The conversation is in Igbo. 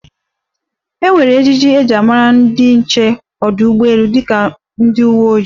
E nwere ejiji e ji mara ndi nche ọdụ ụgbọelu dịka ndi uwe ojii.